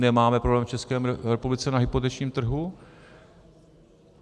Nemáme problém v České republice na hypotečním trhu.